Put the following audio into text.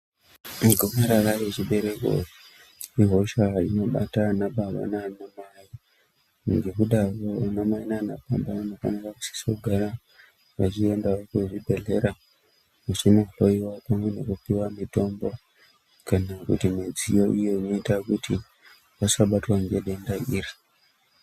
Igomarara rechibereko, ihosha inobata anababa naanamai. Ngekudaro anamai naanababa, anosise kugara veiendawo kuzvibhedhlera, vachinohloiwa pamwe nekupiwa mitombo , kana kuti midziyo iyo inoita kuti, vasabatwa ngedenda iri.